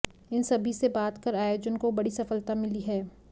इन सभी से बात कर आयोजन को बड़ी सफलता मिली है